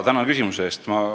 Tänan küsimuse eest!